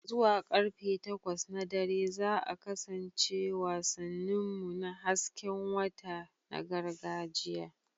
Zuwa karfe takwas na dare za a kasance wasannin mu na hasken wata na gargajiya.